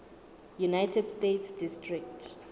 united states district